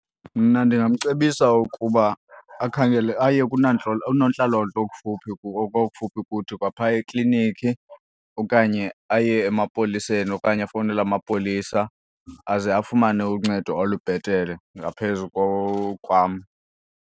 Mna ndingamcebisa ukuba akhangele aye oonontlalontle okufuphi kuthi kwaphaya ekliniki okanye aye emapoliseni okanye afowunele amapolisa aze afumane uncedo olubhetere ngaphezu kwam.